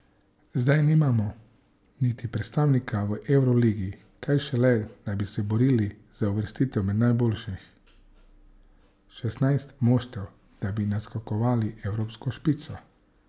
Zdaj nimamo niti predstavnika v evroligi, kaj šele, da bi se borili za uvrstitev med najboljših šestnajst moštev, da bi naskakovali evropsko špico.